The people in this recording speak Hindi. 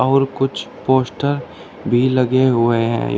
और कुछ पोस्टर भी लगे हुए हैं।